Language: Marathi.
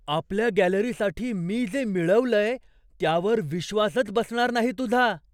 आपल्या गॅलरीसाठी मी जे मिळवलंय त्यावर विश्वासच बसणार नाही तुझा!